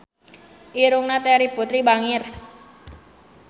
Irungna Terry Putri bangir